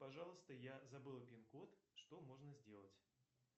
пожалуйста я забыл вин код что можно сделать